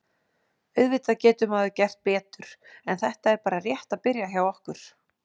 Auðvitað getur maður gert betur en þetta er bara rétt að byrja hjá okkur.